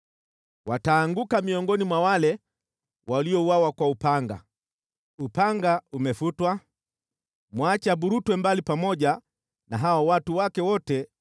Wataanguka miongoni mwa wale waliouawa kwa upanga. Upanga umefutwa, mwache aburutwe mbali pamoja na hao wajeuri wake wote.